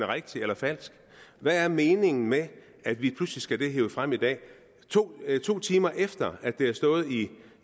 rigtig eller falsk hvad er meningen med at vi pludselig skal have det hevet frem i dag to to timer efter at det har stået i